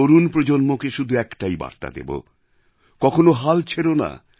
তরুণ প্রজন্মকে শুধু একটাই বার্তা দেব কখনো হাল ছেড়ো না